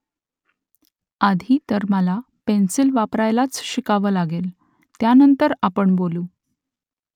आधी तर मला पेन्सिल वापरायलाच शिकावं लागेल . त्यानंतर आपण बोलू